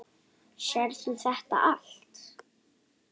Sérð þú þetta allt?